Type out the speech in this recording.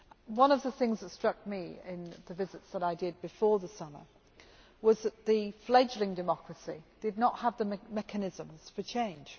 One of the things that struck me in the visits that I made before the summer was that the fledgling democracy did not have the mechanisms for change.